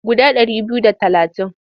Guda ɗari biyu da talatin.